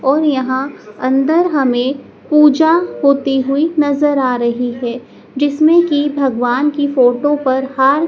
और यहां अंदर हमें पूजा होती हुई नज़र आ रही है जिसमें की भगवान की फोटो पर हार--